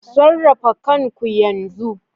Sarrafa kanku yanzu